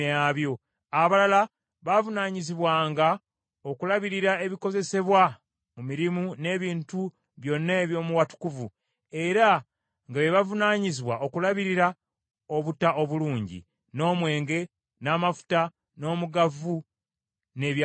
Abalala baavunaanyizibwanga okulabirira ebikozesebwa mu mirimu n’ebintu byonna eby’omu watukuvu, era nga be bavunaanyizibwa okulabirira obutta obulungi, n’omwenge, n’amafuta, n’omugavu, n’ebyakaloosa.